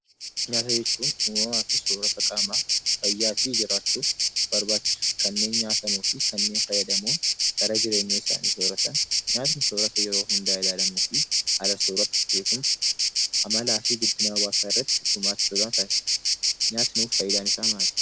Nyaata jechuun uumamaa fi soorata qaamaa fayyaa fi jiraachuuf barbaachisu kanneen nyaatamuu fi kanneen fayyadamuun dhala jireenya isaanii, sooratan. Nyaatni soorata yeroo hundaa ilaalamuu fi haala soorata, beekumsa, amalaa fi guddina hawaasaa irratti gumaacha olaanaa taasisu. Nyaati nuuf faayidaan isaa maali?